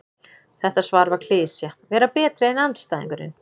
Þetta svar var klisja: Vera betri en andstæðingurinn.